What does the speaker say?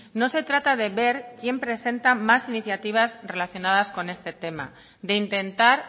no se trata de ver quién presenta más iniciativas relacionadas con este tema de intentar